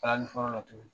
Kalali fɔlɔ la tuguni